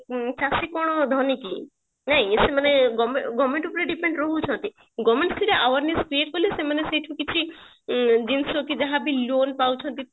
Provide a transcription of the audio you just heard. ଚାଷୀ କଣ ଭଲ କି ସେ ସେ government ଉପରେ depend ରହୁଛନ୍ତି government ସିନା awareness create କଲେ ସେମାନେ ସେଇଠୁ ଉଁ ଯାହା ଜିନିଷ କି ଯାହା loan ପାଉଛନ୍ତି